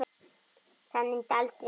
Það myndi aldrei ganga upp.